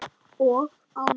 Hvað mundir þú gera?